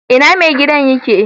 Ina mai gidan yake?